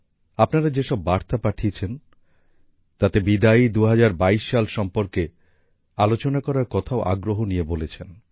আপনারা যে সব বার্তা পাঠিয়েছেন তাতে বিদায়ী ২০২২ সাল সম্পর্কে আলোচনা করার কথাও আগ্রহ নিয়ে বলেছেন